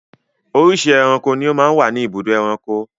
Oríṣiríṣi ẹranko ni ó máa ń wà ní ibùdó ẹranko.